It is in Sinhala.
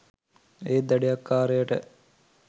ඒත් දඩයක්කාරයට